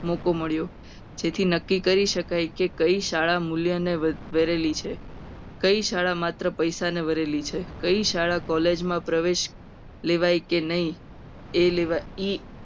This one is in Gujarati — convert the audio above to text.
મોકો મળ્યો. જેથી નક્કી કરી શકાય કે કઈ શાળા મૂલ્ય અને વળેલી છે. કઈ શાળા માત્ર પૈસાના બનેલી છે. કઈ શાળામાં college માં પ્રવેશ લેવાય. કે નહીં. એ level